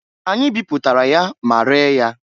Anyị biputara ya ma ree ya.